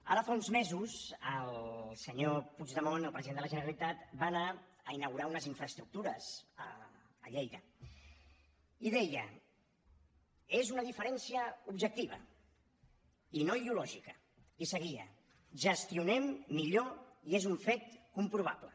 ara fa uns mesos el senyor puigdemont el president de la generalitat va anar a inaugurar unes infraestructures a lleida i deia és una diferència objectiva i no ideològica i seguia gestionem millor i és un fet comprovable